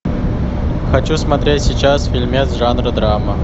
хочу смотреть сейчас фильмец жанра драма